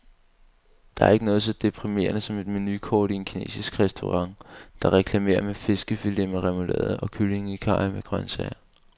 Der er ikke noget så deprimerende som et menukort i en kinesisk restaurant, der reklamerer med fiskefiletter med remoulade og kylling i karry med grøntsager.